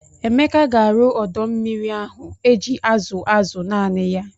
Emeka ga-arụ ọdọ mmiri ahụ eji azụ azụ naanị ya.